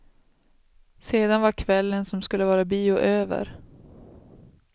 Sedan var kvällen som skulle vara bio över.